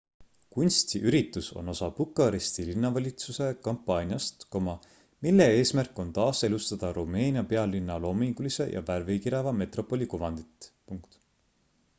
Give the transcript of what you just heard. kunstiüritus on osa bukaresti linnavalitsuse kampaaniast mille eesmärk on taaselustada rumeenia pealinna loomingulise ja värvikireva metropoli kuvandit